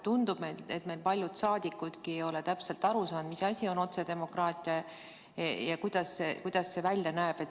Tundub, et meil paljud saadikudki ei ole täpselt aru saanud, mis asi on otsedemokraatia ja kuidas see välja näeb.